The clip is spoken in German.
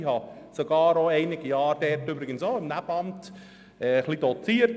Ich habe sogar auch einige Jahre dort im Nebenamt doziert.